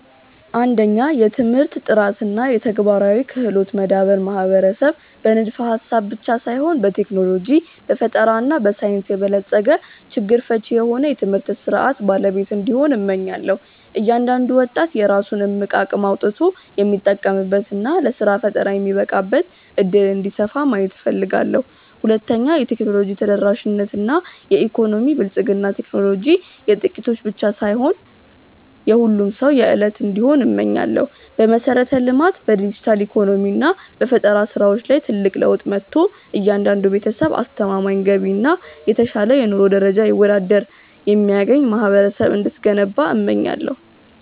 1. የትምህርት ጥራት እና የተግባራዊ ክህሎት መዳበር ማህበረሰብ በንድፈ-ሐሳብ ብቻ ሳይሆን በቴክኖሎጂ፣ በፈጠራ እና በሳይንስ የበለጸገ፣ ችግር ፈቺ የሆነ የትምህርት ሥርዓት ባለቤት እንዲሆን፣ እመኛለሁ። እያንዳንዱ ወጣት የራሱን እምቅ አቅም አውጥቶ የሚጠቀምበት እና ለሥራ ፈጠራ የሚበቃበት ዕድል እንዲሰፋ ማየት እፈልጋለሁ። 2. የቴክኖሎጂ ተደራሽነት እና የኢኮኖሚ ብልጽግና ቴክኖሎጂ የጥቂቶች ብቻ ሳይሆን የሁሉም ሰው የዕለት እንዲሆን እመኛለሁ። በመሠረተ-ልማት፣ በዲጂታል ኢኮኖሚ እና በፈጠራ ሥራዎች ላይ ትልቅ ለውጥ መጥቶ፣ እያንዳንዱ ቤተሰብ አስተማማኝ ገቢ እና የተሻለ የኑሮ ደረጃ ይወዳድር የሚያገኝ ማህበረሰብ እንድትገነባ እመኛለሁ።